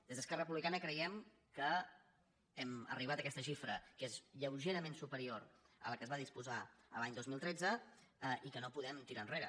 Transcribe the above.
des d’esquerra republicana creiem que hem arribat a aquesta xifra que és lleugerament superior a la que es va disposar l’any dos mil tretze i que no podem tirar enrere